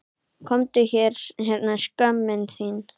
Komdu hérna skömmin þín!